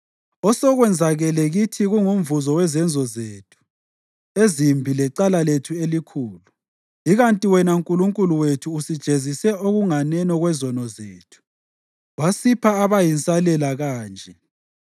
Osekwenzakele kithi kungumvuzo wezenzo zethu ezimbi lecala lethu elikhulu, ikanti wena Nkulunkulu wethu usijezise okunganeno kwezono zethu wasipha abayinsalela kanje.